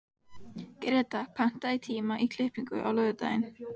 Greta, pantaðu tíma í klippingu á laugardaginn.